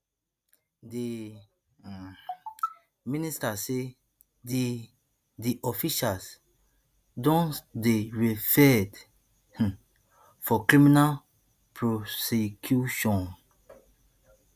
di um minister say di di officials don dey referred um for criminal prosecution